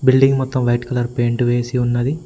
Building మొత్తం white colour paint వేసి ఉన్నది.